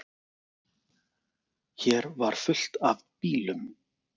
Hér var fullt af bílum.